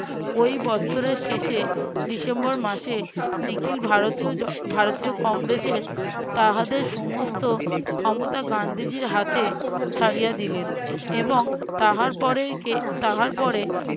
ওই বৎসরের শেষে ডিসেম্বর মাসে নিখিল ভারতীয় জ ভারতীয় কংগ্রেসের তাহাদের সমস্ত ক্ষমতা গান্ধীজীর হাতে ছাড়িয়া দিলেন এবং তাহার পরে কে~ তাহার পরে